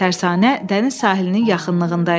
Tərsanə dəniz sahilinin yaxınlığında idi.